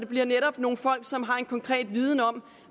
bliver nogle folk som har en konkret viden om